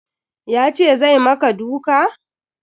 Ya ce zai maka duka?